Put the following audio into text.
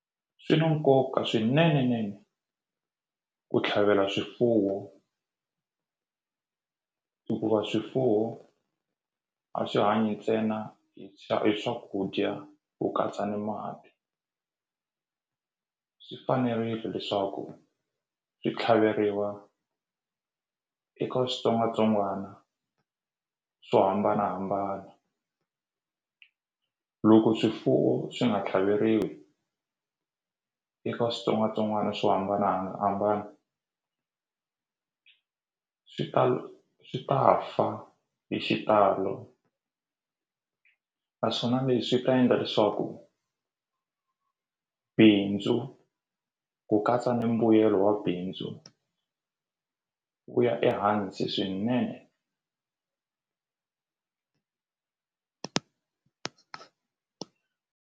Swi na nkoka swinene nene ku tlhavela swifuwo hikuva swifuwo a swi hanyi ntsena hi swakudya ku katsa ni mati swi fanerile leswaku swi tlhaveriwa eka switsongwatsongwana swo hambanahambana loko swifuwo swi nga tlhaveriwi eka switsongwatsongwana swo hambanahambana swi swi ta fa hi xitalo naswona leswi ta endla leswaku bindzu ku katsa ni mbuyelo wa bindzu wu ya ehansi swinene.